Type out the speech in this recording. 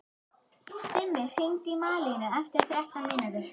Simmi, hringdu í Malínu eftir þrettán mínútur.